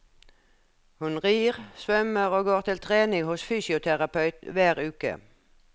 Hun rir, svømmer og går til trening hos fysioterapeut hver uke.